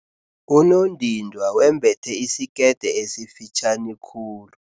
Unondindwa wembethe isikete esifitjhani khulu.